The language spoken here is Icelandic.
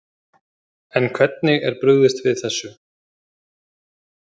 En hvernig er brugðist við þessu?